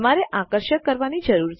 તમારે આકર્ષક કરવાની જરૂર છે